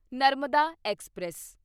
Narmada express